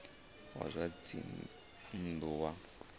wa zwa dzinn ḓu wa